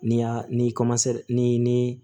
Ni y'a ni ni